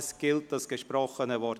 Es gilt das gesprochene Wort.